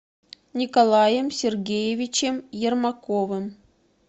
николаем сергеевичем ермаковым